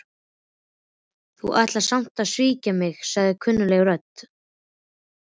Þú ætlar sem sagt að svíkja mig- sagði kunnugleg rödd.